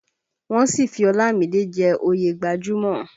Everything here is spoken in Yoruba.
Wọ́n sì fi Ọlámìídé jẹ́ oyè gbajúmò